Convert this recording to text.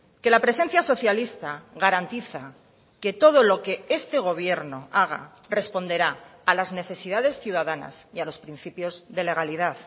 que la presencia socialista garantiza que todo lo que este gobierno haga responderá a las necesidades ciudadanas y a los principios de legalidad